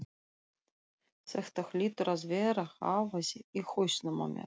Þetta hlýtur að vera hávaði í hausnum á mér.